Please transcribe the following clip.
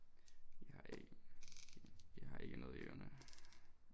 Jeg jeg har ikke noget i ørerne